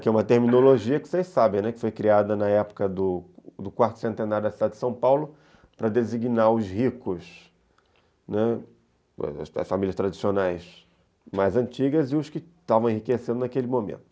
que é uma terminologia que vocês sabem, que foi criada na época do do quarto centenário da cidade de São Paulo para designar os ricos, né, as famílias tradicionais mais antigas e os que estavam enriquecendo naquele momento.